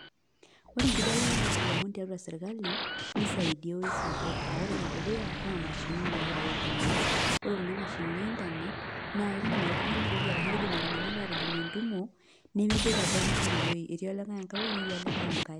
Ore enkibelekenyata olomon tiatua sirkali, nisaidia ewoi sapuk. Ah ore enedukuya, naa mashinini nagirai aitumia. Ore kuna mashinini e Internet, naa ekidim oltung'ani airorie arashu kidim iltung'anak atijing entumo, nemeboita pookin tinewoi. Etii olikae enkae woi, netii olikae enkae.